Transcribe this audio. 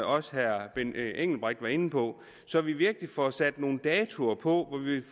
også herre benny engelbrecht var inde på så vi virkelig får sat nogle datoer på